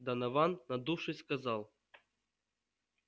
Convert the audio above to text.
донован надувшись сказал